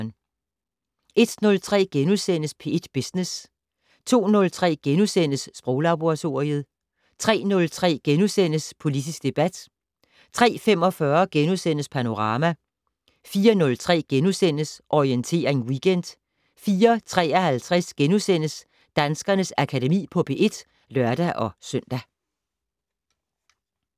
01:03: P1 Business * 02:03: Sproglaboratoriet * 03:03: Politisk debat * 03:45: Panorama * 04:03: Orientering Weekend * 04:53: Danskernes Akademi på P1 *(lør-søn)